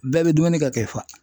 Bɛɛ bɛ dumuni kɛ k'i fa.